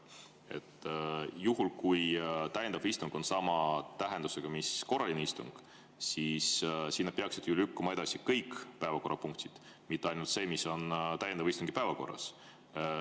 Juhul, kui täiendav istung on sama tähendusega mis korraline istung, peaksid sinna edasi lükkuma kõik päevakorrapunktid, mitte ainult see, mis on täiendava istungi päevakorras.